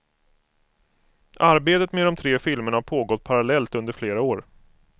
Arbetet med de tre filmerna har pågått parallellt under flera år.